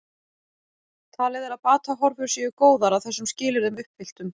Talið er að batahorfur séu góðar að þessum skilyrðum uppfylltum.